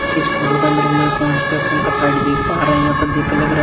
इस फोटो का अंदर हमलोग कॉन्स्टक्शन का साइड देख पा रहे हैं यहां पे देख के लग रहा है--